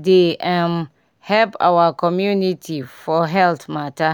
dey um help our community for health mata